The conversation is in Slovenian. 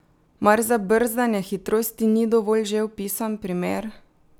Mar za brzdanje hitrosti ni dovolj že opisan primer?